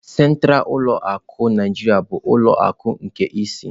Sentralu ulọ akụ Naijiriya bụ ulọ akụ nke ịsị.